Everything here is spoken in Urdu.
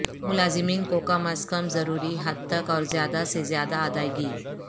ملازمین کو کم از کم ضروری حد تک اور زیادہ سے زیادہ ادائیگی